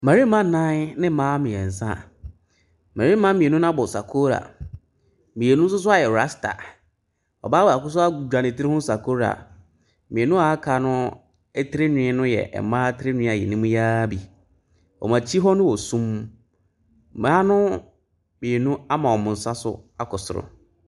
Ayaresabea a ɔbaa bɔɔko tehɔ a ɔbaa baako nso gyina n'anim a ɔrehwɛ no. akonnwa esi hɔ. Ɛpono si hɔ a nnuro egugu ɛpono no so.